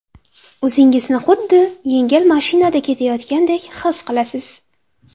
O‘zingizni xuddi yengil mashinada ketayotgandek his etasiz.